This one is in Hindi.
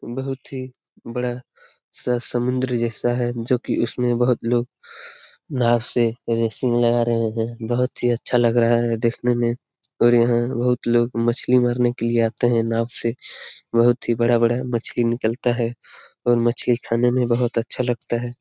बहुत ही बड़ा सा समुन्द्र जैसा है जो की इसमें बहुत लोग नांव से रेसिंग लगा रहे है बहुत ही अच्छा लग रहा हे दिखने में और यहाँ बहुत लोग मछली मारने के लिए आते हैं नांव से बहुत ही बड़ा-बड़ा मछली निकलता हे और मछली खाने में बहुत ही अच्छा लगता हे ।